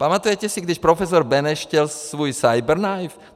Pamatujete si, když profesor Beneš chtěl svůj cyberknife?